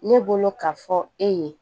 Ne bolo ka fɔ e ye